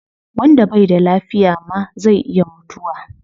Wanda bai da lafiya ma zai iya mutuwa